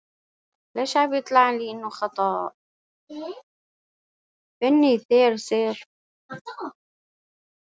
Finni þeir sig ekki í neinu þeirra geta þeir lent í hálfgerðri tilvistarkreppu.